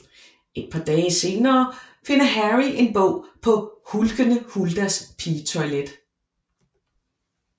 Et par dage senere finder Harry en bog på Hulkende Huldas Pigetoilet